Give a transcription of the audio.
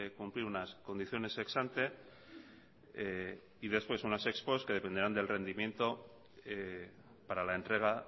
cumplir unas condiciones ex ante y después unas ex post que dependerán del rendimiento para la entrega